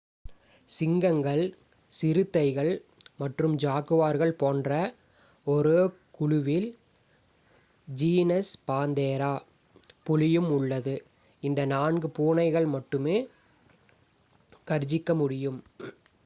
சிங்கங்கள் சிறுத்தைகள் மற்றும் ஜாகுவார்கள் போன்ற ஒரே குழுவில் ஜீனஸ் பாந்தெரா புலியும் உள்ளது. இந்த நான்கு பூனைகள் மட்டுமே கர்ஜிக்க முடியும்